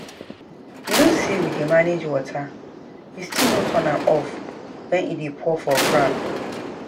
You know say we dey manage water you still no turn am off wen e dey pour for ground